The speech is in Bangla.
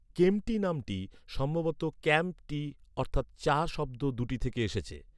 ‘কেম্পটি’ নামটি সম্ভবত ‘ক্যাম্প টি’ অর্থাৎ চা শব্দ দু’টি থেকে এসেছে।